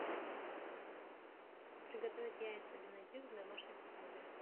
приготовить яйца бенедикт в домашних условиях